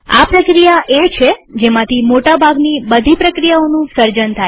આ પ્રક્રિયા એ છે જેમાંથી મોટા ભાગની બધી પ્રક્રિયાઓનું સર્જન થાય છે